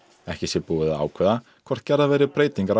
ekki sé búið að ákveða hvort gerðar verði breytingar á